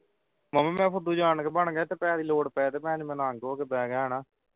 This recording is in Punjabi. ਮਾਮਾ ਮੈਂ ਫੁੱਦੂ ਜਾਣ ਕੇ ਬਣ ਗਿਆ ਤੇ ਪੈਹੇ ਲੋੜ ਪੈਣ ਤੇ ਮੈਂ ਹੋ ਕੇ ਪੈ ਗਿਆ ਹਣਾ।